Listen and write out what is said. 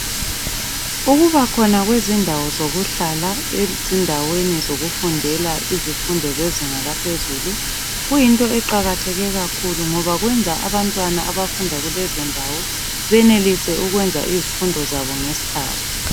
Ukubakhona kwezindawo zokuhlala ezindaweni zokufundela izifundo zezinga laphezulu kuyinto eqakatheke kakhulu ngoba kwenza abantwana abafunda kulezondawo benelise ukwenza izifundo zabo ngesikhathi.